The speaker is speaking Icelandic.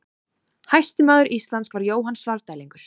Hæsti maður Íslands var Jóhann Svarfdælingur.